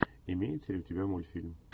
имеется ли у тебя мультфильм